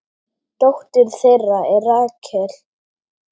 Dóttir þeirra er Rakel.